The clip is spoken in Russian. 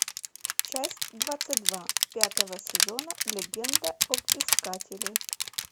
часть двадцать два пятого сезона легенда об искателе